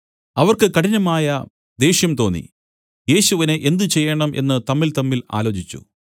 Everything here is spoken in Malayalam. അവർക്ക് കഠിനമായ ദേഷ്യം തോന്നി യേശുവിനെ എന്ത് ചെയ്യേണം എന്നു തമ്മിൽതമ്മിൽ ആലോചിച്ചു